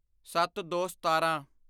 ਸੱਤਦੋਸਤਾਰਾਂ